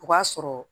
O b'a sɔrɔ